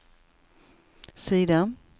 sida